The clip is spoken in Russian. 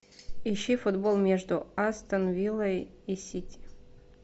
ищи футбол между астон виллой и сити